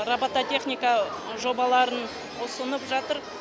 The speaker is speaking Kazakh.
робототехника жобаларын ұсынып жатыр